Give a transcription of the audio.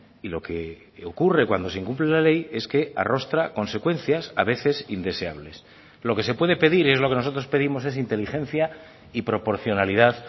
y lo que ocurre cuando se incumple la ley es que arrostra consecuencias a veces indeseables lo que se puede pedir es lo que nosotros pedimos es inteligencia y proporcionalidad